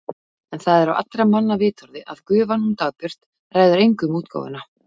En það er á allra manna vitorði að gufan hún Dagbjört ræður engu um útgáfuna.